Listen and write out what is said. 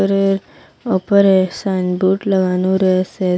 ওপরের ওপরে sign board লাগানো রয়েসে ।